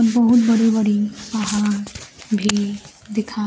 बहुत बड़ी बड़ी पहाड़ भी दिखाई--